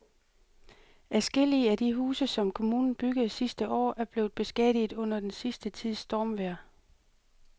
Adskillige af de huse, som kommunen byggede sidste år, er blevet beskadiget under den sidste tids stormvejr.